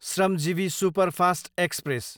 Shramjeevi superfast express